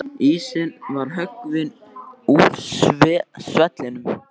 Ísinn var höggvinn úr svellinu á